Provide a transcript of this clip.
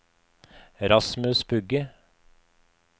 Rasmus Bugge